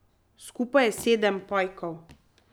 Skupaj je sedem pajkov.